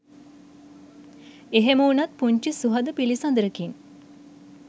එහෙම උනත් පුංචි සුහද පිලිසදරකින්